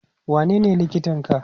wanene likitan ka?